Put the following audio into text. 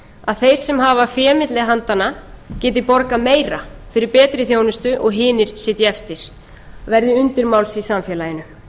að þeir sem hafa fé milli handanna geti borgað meira fyrir betri þjónustu og hinir sitji eftir verði undirmáls í samfélaginu